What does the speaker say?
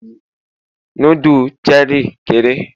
nudu Cherie kere